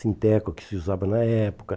Sinteco, que se usava na época.